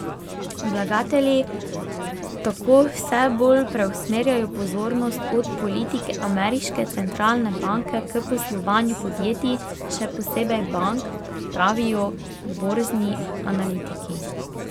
Vlagatelji tako vse bolj preusmerjajo pozornost od politike ameriške centralne banke k poslovanju podjetij, še posebej bank, pravijo borzni analitiki.